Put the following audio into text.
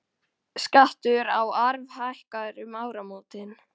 Skattur á arf hækkar um áramótin